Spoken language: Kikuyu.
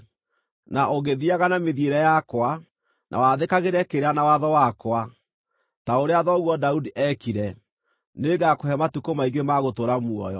Na ũngĩthiiaga na mĩthiĩre yakwa, na wathĩkagĩre kĩrĩra na watho wakwa, ta ũrĩa thoguo Daudi eekire, nĩngakũhe matukũ maingĩ ma gũtũũra muoyo.”